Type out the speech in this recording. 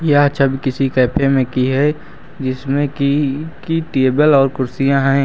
यह छवि किसी कैफे में की है जिसमें कि की टेबल और कुर्सियां हैं।